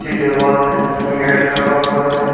कच्ची दीवाल है जिसमें गेट लगा हुआ है।